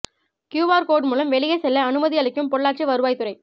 Q R code மூலம் வெளியே செல்ல அனுமதி அளிக்கும் பொள்ளாச்சி வருவாய்த்துறை